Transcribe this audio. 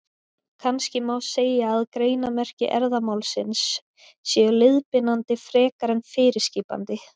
Kannski má segja að greinarmerki erfðamálsins séu leiðbeinandi frekar en fyrirskipandi.